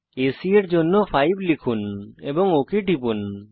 AC এর দৈর্ঘ্যের জন্য 5 লিখুন এবং ওক টিপুন